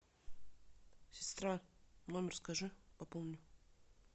сестра номер скажи пополню